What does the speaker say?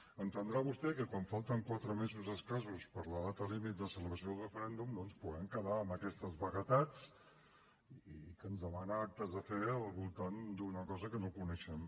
deu entendre vostè que quan falten quatre mesos escassos per a la data límit de celebració del referèndum no ens puguem quedar en aquestes vaguetats perquè ens demana actes de fe al voltant d’una cosa que no coneixem